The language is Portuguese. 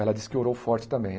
Ela disse que orou forte também.